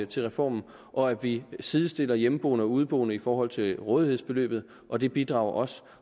til reformen og at vi sidestiller hjemmeboende og udeboende i forhold til rådighedsbeløbet og det bidrager også